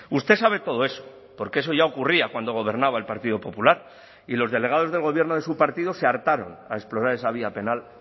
usted sabe todo eso porque eso ya ocurría cuando gobernaba el partido popular y los delegados del gobierno de su partido se hartaron a explorar esa vía penal